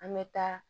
An bɛ taa